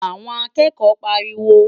Àwọn akẹ́kọ̀ọ́ ń pariwo.